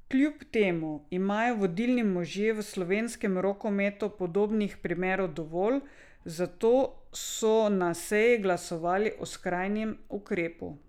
Kljub temu imajo vodilni možje v slovenskem rokometu podobnih primerov dovolj, zato so na seji glasovali o skrajnem ukrepu.